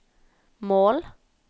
mål